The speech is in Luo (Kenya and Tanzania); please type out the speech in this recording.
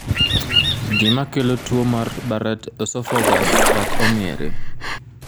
Gima kelo tuo mar Barrett esophagus ok ong'ere.